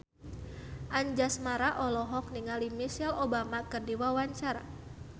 Anjasmara olohok ningali Michelle Obama keur diwawancara